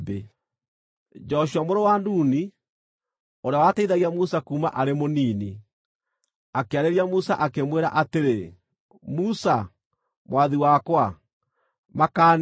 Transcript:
Joshua mũrũ wa Nuni, ũrĩa wateithagia Musa kuuma arĩ mũnini, akĩarĩria Musa, akĩmwĩra atĩrĩ, “Musa, mwathi wakwa, makaanie!”